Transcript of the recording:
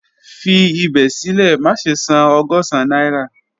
Fi ibẹ silẹ, maṣe san ọgọ́sán naira